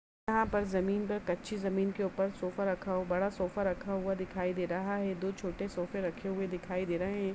यहां पर जमीन पर कच्ची जमीन के ऊपर सोफा रखा हुआ बड़ा सोफा रखा हुआ दिखाई दे रहा है दो छोटे सोफे रखे हुए दिखाई दे रहे हैं।